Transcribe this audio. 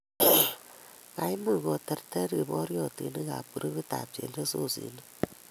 Kaimuch koterter kiporyotinik groupitab chelososinik.